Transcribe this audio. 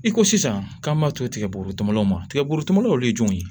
I ko sisan k'an b'a to tigɛborotubanaw ma tigɛbuguteminliw ye jumɛn ye